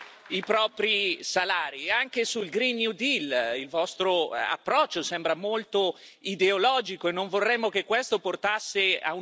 il vostro approccio sembra molto ideologico e non vorremmo che questo portasse a un ulteriore svantaggio competitivo per le nostre imprese.